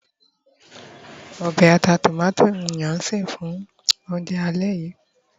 obe ata tomato ni a se fún ounjẹ alẹ́ yìí